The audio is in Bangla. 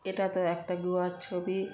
এটাতো একটা গুহার ছবি ।